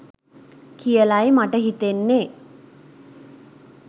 කියලයි මට හිතෙන්නේ